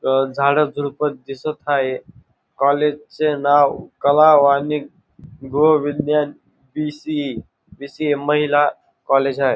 अह झाडं झुडपं दिसत आहे कॉलेजचे नाव कला वाणिज्य गोविंदन पी_सी_इ पी_सी_ए महिला कॉलेज आहे.